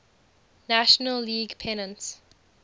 national league pennants